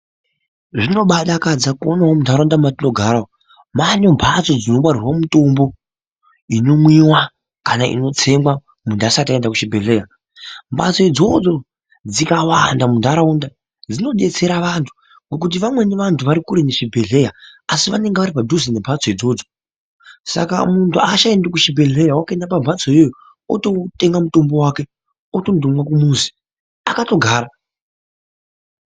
Zvino baadakadza kuonawo muntaraunda mwetinogara umwu mwaane mphatso dzino ngarirwa mutombo ino mwiwa kana inotsengwa muntu asati aenda kuchibhedhleya . Mphatso dzoidzo dzikawanda muntaraunda dzinodetsera vantu ngokuti vamweni vantu vari kure nezvibhedhleya asi vanonge vari padhuze nemphatso idzodzo saka muntu aachaendi kuchibhedhleya wakutoenda pa mphatso iyoyo ototenga mutombo wake otondomwa kumuzi akatogara.